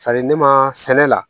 ne ma sɛnɛ la